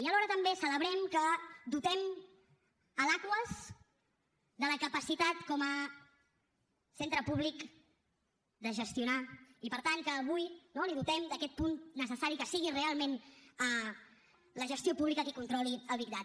i alhora també celebrem que dotem l’aquas de la capacitat com a centre públic de gestionar i per tant que avui no la dotem d’aquest punt necessari que sigui realment la gestió pública qui controli el big data